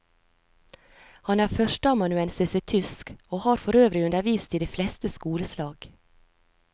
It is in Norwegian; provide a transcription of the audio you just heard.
Han er førsteamanuensis i tysk, og har forøvrig undervist i de fleste skoleslag.